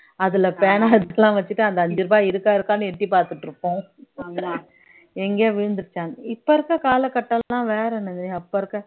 அதுல பேணா எல்லாம் வச்சிட்டு அந்த அஞ்சு ரூபாய் இருக்கா இருக்கான்னு எட்டி பார்த்துட்டு இருப்போம் எங்கேயோ விழுந்திருச்சான்னு இப்ப இருக்க கால கட்டம் எல்லாம் வேற என்னது அப்ப இருக்க